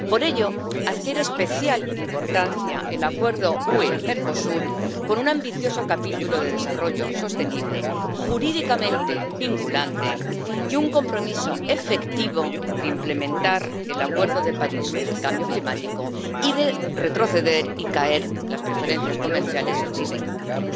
Por ello, adquiere especial importancia el Acuerdo UE Mercosur, con un ambicioso capítulo de desarrollo sostenible, jurídicamente vinculante y un compromiso efectivo de implementar el Acuerdo de París sobre el cambio climático y de retroceder y hacer caer las preferencias comerciales si se incumple.